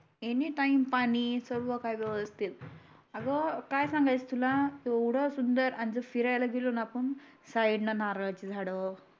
any time पाणी सर्व काही व्यवस्थित अग काय सांगाच तुला येवढ सुंदर आणि जर फिराला गेलो ना आपण साईड न नारडाची झाड